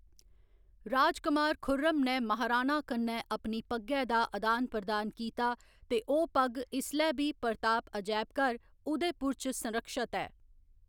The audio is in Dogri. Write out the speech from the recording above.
राजकमार खुर्रम ने महाराणा कन्नै अपनी पग्गै दा अदान प्रदान कीता ते ओह्‌‌ पग्ग इसलै बी प्रताप अजैबघर, उदयपुर च संरक्षत ऐ।